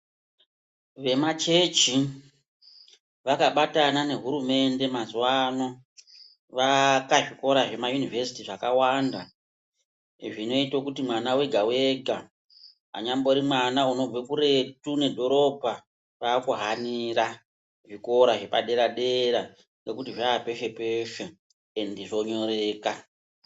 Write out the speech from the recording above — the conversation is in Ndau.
Vemachechi vakabatana nehurumende mazuwa ano vaaka zvikora zvema univesiti zvakawanda zvinoite kuti mwana ega ega, anonyambori mwana unobve kuretu nedhorobha waakuhanira zvikora zvepadera dera ngekuti zvaapeshe peshe endi zvonyoreka.